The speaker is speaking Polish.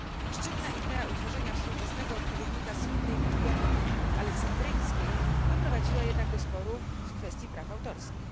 Szczytna idea utworzenia współczesnego odpowiednika słynnej Biblioteki Aleksandryjskiej doprowadziła jednak do sporu w kwestii praw autorskich.